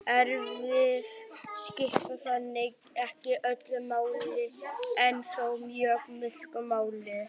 erfðir skipta þannig ekki öllu máli en þó mjög miklu máli